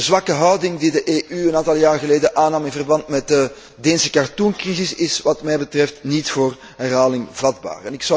De zwakke houding die de EU een aantal jaren geleden aannam in verband met de Deense cartooncrisis is wat mij betreft niet voor herhaling vatbaar.